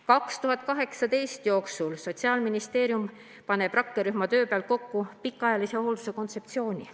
2018 – Sotsiaalministeerium paneb rakkerühma töö alusel kokku pikaajalise hoolduse kontseptsiooni.